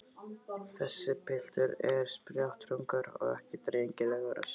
Þessi piltur er spjátrungur og ekki drengilegur að sjá.